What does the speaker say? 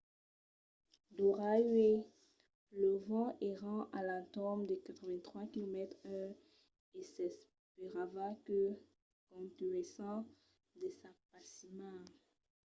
d'ora uèi los vents èran a l'entorn de 83 km/h e s'esperava que contunhèssen de s'apasimar